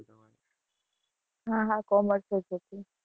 હા, હા commerce જ હતું.